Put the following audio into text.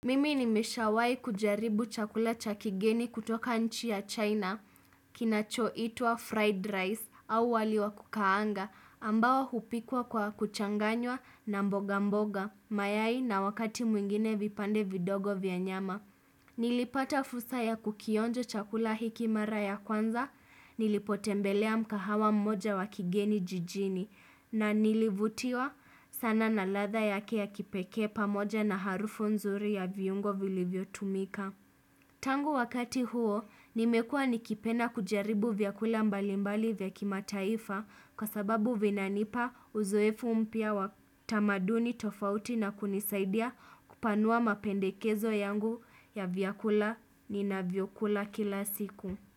Mimi nimeshawai kujaribu chakula chakigeni kutoka nchi ya China, kinacho itwa fried rice au waliwa kukaanga, ambao hupikwa kwa kuchanganywa na mboga mboga, mayai na wakati mwingine vipande vidogo vya nyama. Nilipata fursa ya kukionjo chakula hikimara ya kwanza, nilipotembelea mgahawa mmoja wakigeni jijini na nilivutiwa sana na ladha yake ya kipekee pamoja na harufu nzuri ya viungo vilivyo tumika. Tangu wakati huo nimekua nikipenda kujaribu vyakula mbali mbali vya kimataifa kwa sababu vinanipa uzoefu mpya wa tamaduni tofauti na kunisaidia kupanua mapendekezo yangu ya vyakula ni na vyokula kila siku.